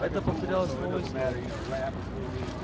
это повторялось снова и снова